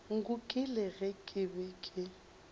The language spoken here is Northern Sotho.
nkukile ge ke be ke